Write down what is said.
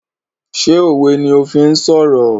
Ṣé òwe ni o fi ń sọ̀rọ̀?